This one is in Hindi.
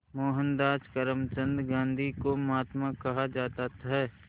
मोहनदास करमचंद गांधी को महात्मा कहा जाता है